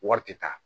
Wari tɛ taa